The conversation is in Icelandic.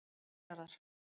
milljarðar